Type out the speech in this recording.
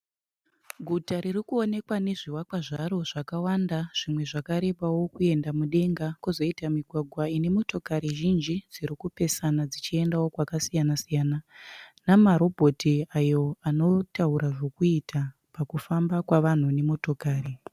Guta riri kuonekwa nezvivakwa zvaro zvakawanda zvimwe zvakarebao kuenda mudenga. Kozoita migwagwa ine motokari zhinji dzirikupesana dzichiendao kwakasiyana siyana. Namarobhoti ayo anotaura zvekuita pakufamba kwevanhu nemotokari.